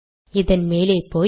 இதன் மேலே போய்